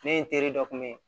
Ne ye n teri dɔ kun bɛ ye